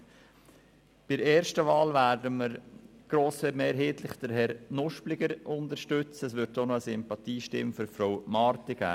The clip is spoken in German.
Bei der ersten Wahl werden wir grossmehrheitlich Herrn Nuspliger unterstützen, es wird auch eine Sympathiestimme für Frau Marti geben.